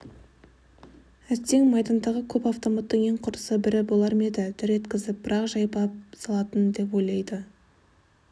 әттең майдандағы көп автоматтың ең құрыса бірі болар ма еді дыр еткізіп бір-ақ жайпап салатын деп ойлайды